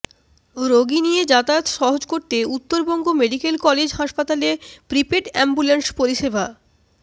রোগী নিয়ে যাতায়াত সহজ করতে উত্তরবঙ্গ মেডিক্যাল কলেজ হাসপাতালে প্রিপেড অ্যাম্বুল্যান্স পরিষেবা